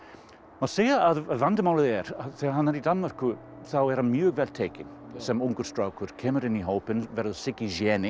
má segja að vandamálið er að þegar hann er í Danmörku þá er mjög vel tekið sem ungum strák kemur inn í hópinn verður Siggi